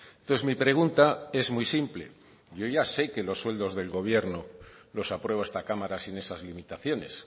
entonces mi pregunta es muy simple yo ya sé que los sueldos del gobierno los aprueba esta cámara sin esas limitaciones